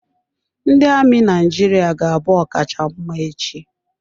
Ndị amị Naijiria ga-abụ ọkacha mma echi.